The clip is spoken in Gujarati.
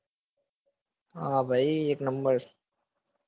હા ભાઈ એક નંબર.